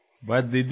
చాలు దీదీ